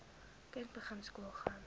kind begin skoolgaan